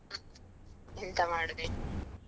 ಎಂತ ಮಾಡುದು ಹೇಳಿ.